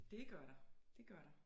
Det gør der det gør der